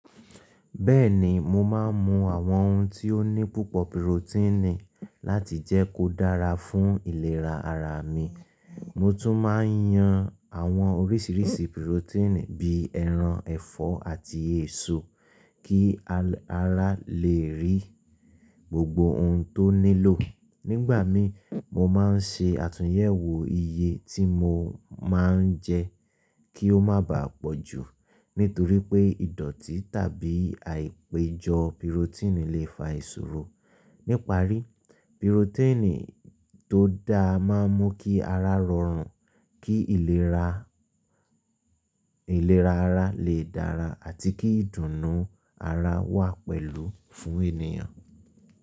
Bẹ́ẹ̀ni, mo máa ń mu àwọn oun tí ó ní púpọ̀ pirotíìnì láti jẹ́ kó dára fún ìlera ara mi. Mo tún máa ń yan àwọn oríṣìíríṣìí pirotíìnì bí ẹran, ẹ̀fọ́, àti èso kí ara lè rí gbogbo oun tó nílò. Nígbà mi, mo máa ń ṣe àtúnyẹ̀wò iye tí mo máa ń jẹ́ kí ó má bàá pọ̀ jù, nítorí pé ìdọ̀tí tàbí àìpéjọ pirotíìnì lè fa ìṣòro. Níparí, pirotíìnì tó dáa máa ń mú kí ara rọrùn, kí ìlera ara lè dára àti kí ìdùnnú ara wà pẹ̀lú fún ènìyàn.